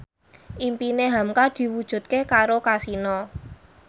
impine hamka diwujudke karo Kasino